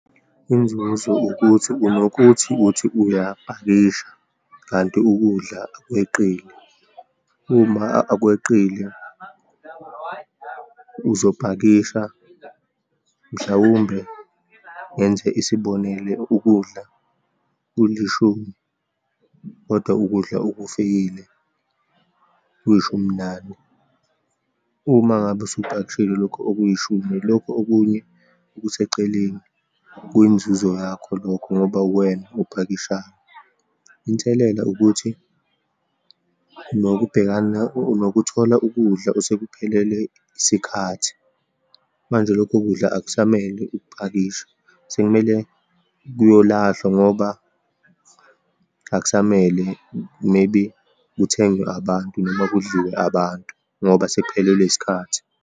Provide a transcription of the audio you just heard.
Inzuzo ukuthi, unokuthi uthi uyapakisha, kanti ukudla kweqile. Uma kweqile, uzopakisha, mhlawumbe, ngenze isibonelo, ukudla kulishumi, kodwa ukudla okufikile kuyishuminane. Uma ngabe usupakishile lokho okuyishumi, lokho okunye okuseceleni kwiyinzuzo yakho lokho ngoba uwena ophakishayo. Inselela ukuthi unokubhekana, unokuthola ukudla osekuphelelwe isikhathi, manje lokho kudla akusamele ukupakishe sekumele kuyolahlwa ngoba akusamele, maybe kuthengwe abantu, noma kudliwe abantu ngoba sekuphelelwe isikhathi.